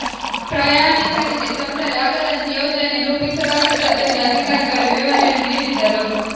ಪ್ರಯಾಣಿಕರಿಗೆ ತೊಂದರೆ ಆಗದಂತೆ ಯೋಜನೆ ರೂಪಿಸಲಾಗುತ್ತದೆ ಎಂದು ಅಧಿಕಾರಿಗಳು ವಿವರಣೆ ನೀಡಿದರು